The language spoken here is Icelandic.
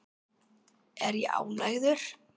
Er ég ánægður?